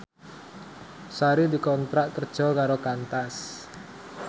Sari dikontrak kerja karo Qantas